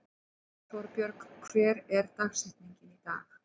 Torbjörg, hver er dagsetningin í dag?